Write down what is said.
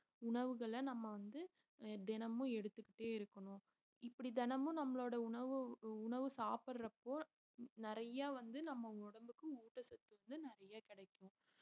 உணவுகளை நம்ம வந்துஆஹ் தினமும் எடுத்துக்கிட்டே இருக்கணும் இப்படி தினமும் நம்மளோட உணவு உணவு சாப்பிடுறப்போ நிறைய வந்து நம்ம உடம்புக்கு ஊட்டச்சத்து வந்து நிறைய கிடைக்கும்